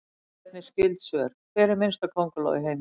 Skoðið einnig skyld svör: Hver er minnsta könguló í heimi?